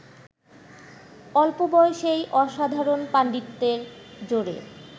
অল্পবয়সেই অসাধারণ পাণ্ডিত্যের জোরে